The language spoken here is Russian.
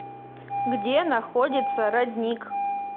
где находится родник